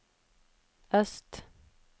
øst